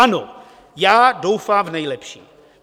Ano, já doufám v nejlepší.